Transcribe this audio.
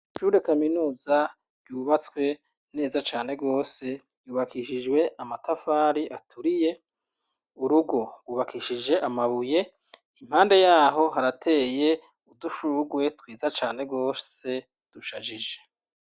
Ishure kaminuza ryubatswe neza cane rwose, ryubakishijwe amatafari aturiye, urugo rwubakishije amabuye, impande y'aho harateye udushugwe twiza cane rwose dushajije.